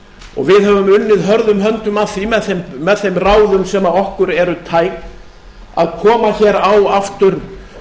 og við höfum unnið hörðum höndum að því með þeim ráðum sem okkur eru tæk að koma hér á aftur